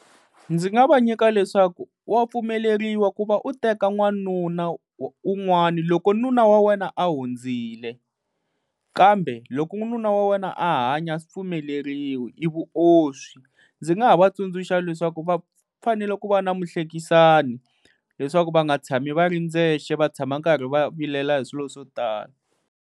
Ndzi nga va nyika leswaku wa pfumeleriwa ku va u teka n'wanuna un'wani, loko nuna wa wena a hundzile. Kambe loko nuna wa wena a hanya a swi pfumeleriwi i vuoswi. Ndzi nga ha va tsundzuxa leswaku va fanele ku va na muhlekisani, leswaku va nga tshami va ri ndzexe va tshama karhi va vilela hi swilo swo tala.